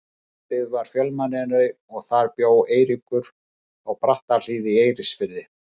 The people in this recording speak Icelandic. Eystribyggð var fjölmennari og þar bjó Eiríkur, á Brattahlíð í Eiríksfirði.